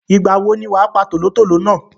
Ìgbà wo ni wàá pa tòlótòló náà?